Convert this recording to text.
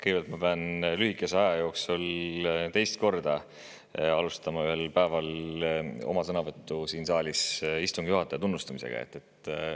Kõigepealt ma pean lühikese aja jooksul teist korda alustama oma päeva sõnavõttu siin saalis istungi juhataja tunnustamisega.